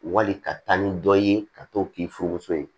Wali ka taa ni dɔ ye ka to k'i furumuso ye